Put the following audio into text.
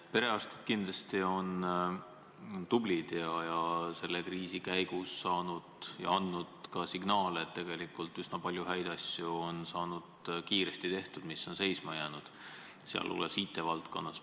Perearstid on kindlasti tublid ja selle kriisi käigus andnud ka signaale, et tegelikult on üsna palju häid asju saanud kiiresti tehtud, mis on varem seisma jäänud, sealhulgas IT-valdkonnas.